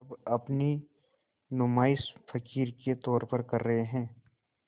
अब अपनी नुमाइश फ़क़ीर के तौर पर कर रहे हैं